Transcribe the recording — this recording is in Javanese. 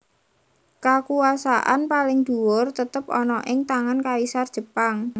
Kakuwasaan paling dhuwur tetep ana ing tangan Kaisar Jepang